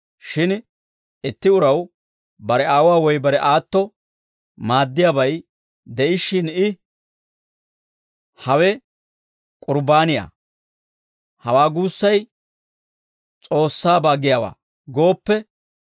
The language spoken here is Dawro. Shin itti uraw bare aawuwaa woy bare aatto maaddiyaabay de'ishshin I, ‹Hawe k'urbbaaniyaa; hawaa guussay S'oossaabaa giyaawaa› gooppe,